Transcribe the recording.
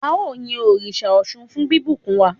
ao yin òrìṣà Òsun fún bibùkún wa